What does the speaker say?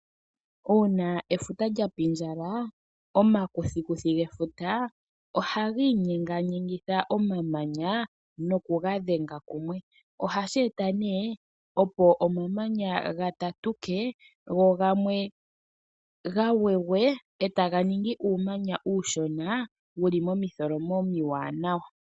Uuna efuta lyapindjala makuthikuthi gefuta ohagi inyenganyengitha omamanya noku gadhenga kumwe ohashi eta nee opo omamanya gatatuke go gamwe gagwegwe ee taga ningi uumanya uushona wuli momitholomo omiwaanawa.